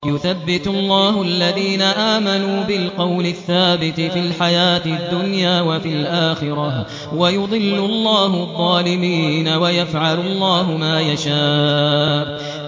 يُثَبِّتُ اللَّهُ الَّذِينَ آمَنُوا بِالْقَوْلِ الثَّابِتِ فِي الْحَيَاةِ الدُّنْيَا وَفِي الْآخِرَةِ ۖ وَيُضِلُّ اللَّهُ الظَّالِمِينَ ۚ وَيَفْعَلُ اللَّهُ مَا يَشَاءُ